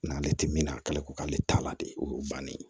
N'ale tɛ min na k'ale ko k'ale t'a la de o ye bannen ye